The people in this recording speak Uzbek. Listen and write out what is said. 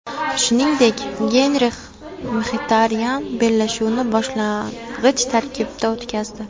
Shuningdek, Genrix Mxitaryan bellashuvni boshlang‘ich tarkibda o‘tkazdi.